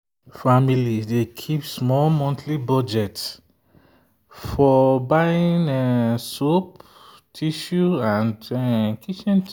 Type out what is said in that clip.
families dey keep small monthly budget for buying soap tissue and kitchen things.